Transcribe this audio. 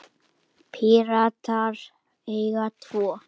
Píratar eiga tvo.